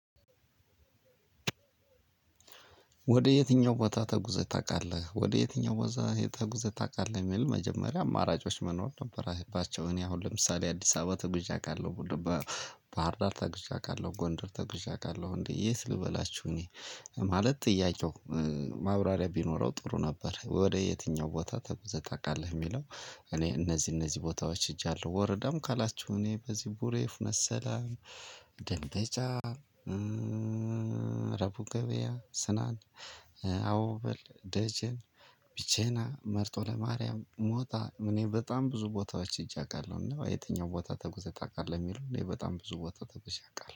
ወደ የትኛው ቦታ ተጉዘህ ታውቃለህ? ወደ የትኛው ቦታ ተጉዘህ ታውቃለህ የሚል መጀመሪያ አማራጮች መኖር ነበራቸው እኔ አሁን ለምሳሌ አዲስ አበባ ተጉዤ አቃለሁ። ባህር ዳር ተጉዤ አቃለሁ ጎንደር ተጉዤ አቃለሁ እንዴ የት ልበላችሁ? እኔ ማለት ጥያቄው ማብራሪያ ቢኖረው ጥሩ ነበር። ወደ የትኛው ቦታ ተጉዘህ ታውቃለህ የሚለው። እኔ እነዚህ እነዚህ ቦታዎች ሄጃለሁ ወረዳም ካላችሁ እኔ በዚህ ቡሬፍ መሰለኝ ደለጫ ረቡገቤ ገበያ ስናን አውበል ደጀን ቢቼና መርጦ ለማርያም ሞታ እኔ በጣም ብዙ ቦታዎች ሄጄ አውቃለሁ። እና የትኛው ቦታ ተጉዘት ታውቃለሁ የሚለው እኔ በጣም ብዙ ቦታ ተጉዘት አውቃለሁ